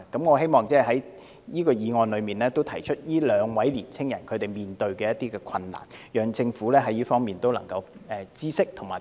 我希望藉着討論這項議案，提出這兩位青年人所面對的困難讓政府知道，並提供協助。